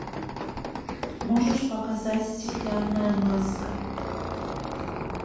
можешь показать стеклянная маска